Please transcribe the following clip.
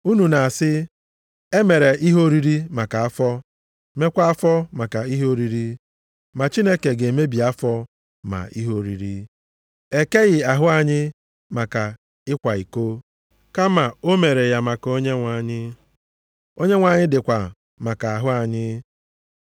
Unu na-asị, “E mere ihe oriri maka afọ, meekwa afọ maka ihe oriri, ma Chineke ga-emebi ma afọ ma ihe oriri.” Ekeghị ahụ anyị maka ịkwa iko, kama o mere ya maka Onyenwe anyị, Onyenwe anyị dịkwa maka ahụ anyị.